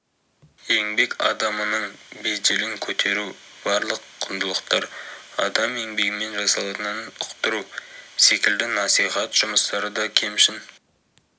еңбек адамының беделін көтеру барлық құндылықтар адам еңбегімен жасалатынын ұқтыру секілді насихат жұмыстары да кемшін